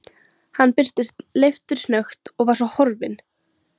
Hann birtist leiftursnöggt og var svo horfinn.